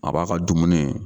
A b'a gaa dumuni